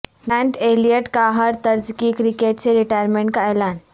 grant Elliott کاہر طرزکی cricket سے ریٹائرمنٹ کا اعلان